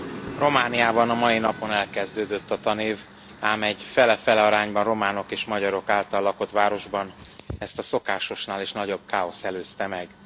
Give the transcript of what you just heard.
Elnök Asszony, Romániában a mai napon elkezdődött a tanév, ám egy fele fele arányban románok és magyarok által lakott városban ezt a szokásosnál is nagyobb káosz előzte meg.